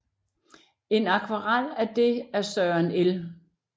En akvarel af det af Søren L